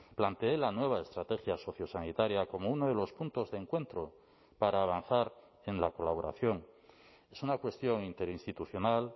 planteé la nueva estrategia sociosanitaria como uno de los puntos de encuentro para avanzar en la colaboración es una cuestión interinstitucional